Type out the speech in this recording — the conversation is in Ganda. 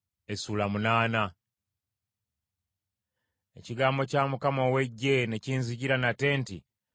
Ekigambo kya Mukama ow’Eggye ne kinzijira nate nti: